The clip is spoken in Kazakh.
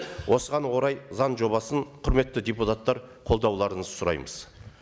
осыған орай заң жобасын құрметті депутаттар қолдауларыңызды сұраймыз